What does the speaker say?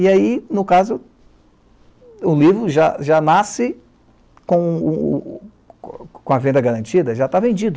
E aí, no caso, o livro já já nasce com o o a venda garantida, já está vendido.